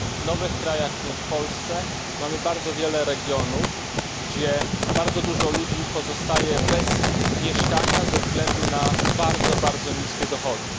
W nowych krajach, w tym w Polsce, mamy bardzo wiele regionów, gdzie bardzo dużo ludzi pozostaje bez mieszkania ze względu na bardzo, bardzo niskie dochody.